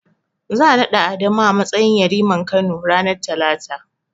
Za'a naɗa Adamu a matsayin yariman Kano, ranar Talata.